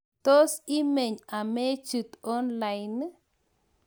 tos imeny amechit onlaini?